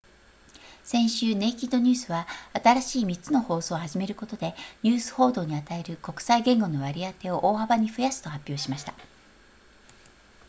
先週ネイキッドニュースは新しい3つの放送を始めることでニュース報道に与える国際言語の割り当てを大幅に増やすと発表しました